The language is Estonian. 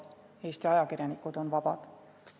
Eesti ajakirjanikud on vabad.